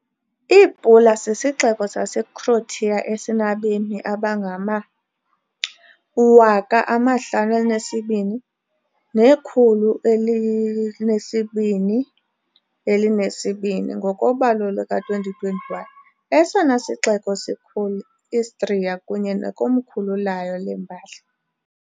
IPula sisixeko saseCroatia esinabemi abangama-52,220, ngokobalo luka-2021, esona sixeko sikhulu - Istria kunye nekomkhulu layo lembali.